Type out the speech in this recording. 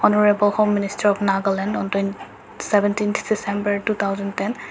honorable home minister of nagaland on toin seventeen December two thousand ten .